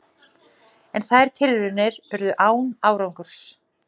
En þær tilraunir urðu án árangurs.